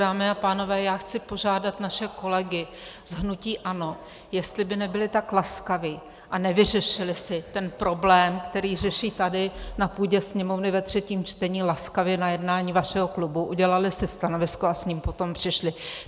Dámy a pánové, já chci požádat naše kolegy z hnutí ANO, jestli by nebyli tak laskavi a nevyřešili si ten problém, který řeší tady na půdě Sněmovny ve třetím čtení, laskavě na jednání vašeho klubu, udělali si stanovisko a s ním potom přišli.